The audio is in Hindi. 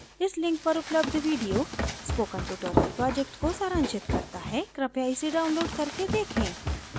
इस link पर उपलब्ध video spoken tutorial project को सारांशित करता है कृपया इसे download करके देखें